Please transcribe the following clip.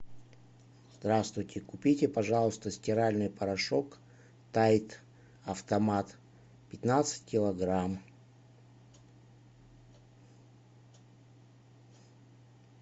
здравствуйте купите пожалуйста стиральный порошок тайд автомат пятнадцать килограмм